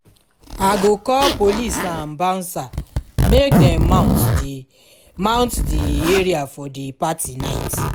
i go call police and bouncer make dem mount di mount di area for di party night